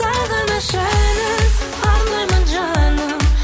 сағыныш әнін арнаймын жаным